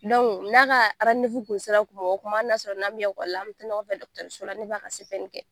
n'a ka kun sera kuma o kuma hali n'a sɔrɔ n'an me ekɔli la an bɛ taa ɲɔgɔn fɛ dɔkitɛriso la ne b'a ka CPN kɛ.